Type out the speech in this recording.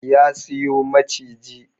Ya siyo maciji